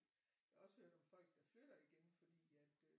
Jeg har også hørt om folk der flytter igen fordi at øh